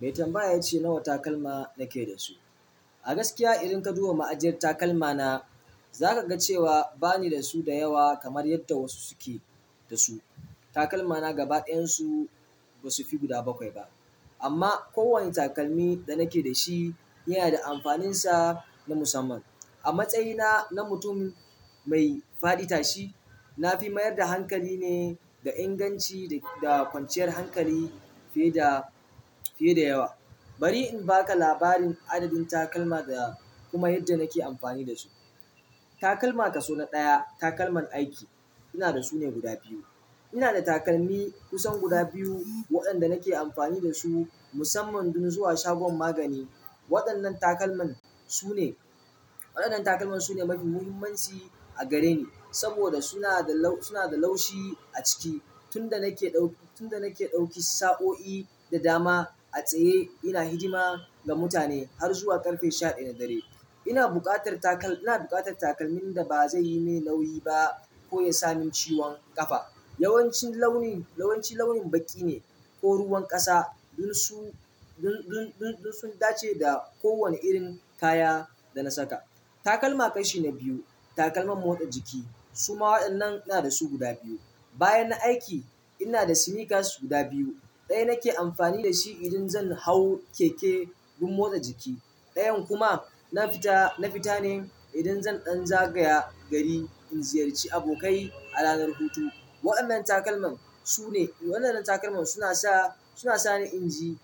Mai tambaya ya ce nawa takalma na ke da su. A gaskiya idan ka duba ma'ajiyar takalma na, za ka ga cewa ba ni da su da yawa kamar yadda wasu suke da su. Takalma na gaba ɗayan su ba su fi guda bakwai ba amma kowane takalmi da na ke da shi yana da amfaninsa na musamman. A matsayina na mutum mai faɗi tashi, na fi mayar da hankali ne ga inganci da kwanciyar hankali fiye da, fiye da yawa. Bari in ba ka labarin adadin takalma da kuma yadda na ke amfani da su. Takalma kason na ɗaya, takalman aiki. Ina da su ne guda biyu. Ina da takalmi kusan guda biyu waɗanda na ke amfani da su musamman don zuwa shagon magani. Waɗannan takalman su ne, waɗannan takalman su ne mafi muhimmanci a gare ni saboda suna da laushi a ciki. Tun da nake ɗauki, tun da nake ɗauki saɓo'i da dama a tsaye ina hidima ga mutane har zuwa ƙarfe shaɗin na dare, ina buƙatar takalmin da ba zai yi min nauni ba ko ya sami ciwon ƙafa. Yawanci launin, yawanci launin baƙi ne ko ruwan ƙasa don su, don, don, don su dace da kowane irin kaya da na saka. Takalma kashi na biyu, takalman motsa jiki. Su ma waɗannan ina da su guda biyu. Bayan na aiki, ina da sneakers guda biyu. Ɗaya nake amfani da shi idan zan hau keke don motsa jiki. Ɗayan kuma na fita, na fita ne idan zan ɗan zagaya gari in ziyarci abokai a ranar hutu. Waɗannan takalman su ne, waɗannan takalman suna sa, suna sa ni inji,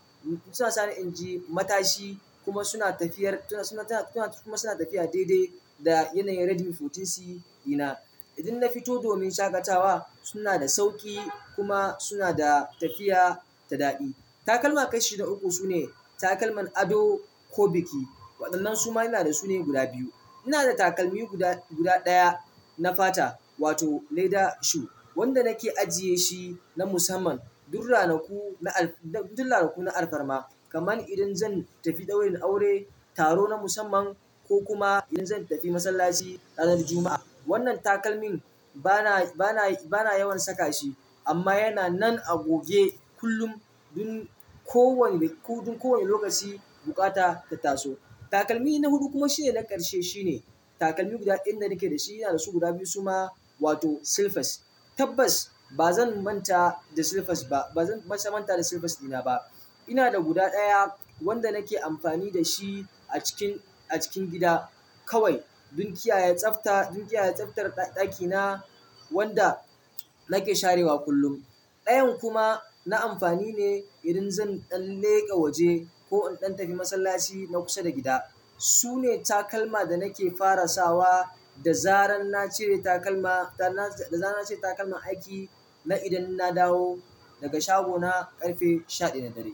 suna sa ni inji matashi kuma suna tafiyar, suna, suna, suna kuma tafiya daidai da yanayin Redmi sha huɗu C dina. Idan na fito domin shaƙatawa suna da sauƙi kuma suna da tafiya ta daɗi. Takalma ƙarshe na uku sune takalman ado ko biki. Waɗannan su ma ina da su ne guda biyu. Ina da takalmi guda, guda ɗaya na fata wato leather shoe wanda nake ajiye shi na musamman dur ranaku na, dur ranaku na alfarma. Kamar idan zan tafi ɗaurin aure, taro na musamman ko kuma idan zan tafi masallaci ranar Juma'a. Wannan takalmin bana, bana, bana yawan saka shi amma yana nan a goge kullum dun kowane, dun kowane lokaci bukata ta taso. Takalmi na hutu kuma shine na ƙarshe shine takalmi guda ɗaya da nake dashi ina dashi guda biyu suma wati silifas. Tabbas ba zan manta da silfas ba. Ba zan manta da silfas dina ba. Ina da guda ɗaya wanda nake amfani da shi a cikin, a cikin gida kawai don kiyaye tsafta, don kiyaye tsaftar ɗakina wanda nake sharewa kullum. Ɗayan kuma na amfani ne idan zan ɗan leƙa waje ko in ɗan tafi masallaci na kusa da gida. Su ne takalma da nake fara sawa da zaran na cire takalma, da na, da zaran na cire takalman aiki na idan na dawo daga shagona ƙarfe shaɗaya na dare.